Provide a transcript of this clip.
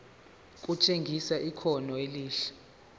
kutshengisa ikhono elihle